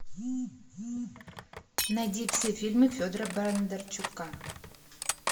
найди все фильмы федора бондарчука